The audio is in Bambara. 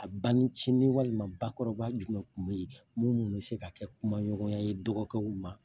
A ba nincini walima ba kɔrɔba jumɛn kun bɛ yen minnu bɛ se ka kɛ kuma ɲɔgɔnya ye dɔgɔ kɛw ma?